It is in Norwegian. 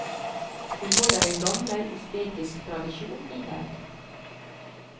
Hun holder en gammel usbekisk tradisjon i hevd.